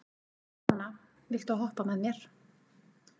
Donna, viltu hoppa með mér?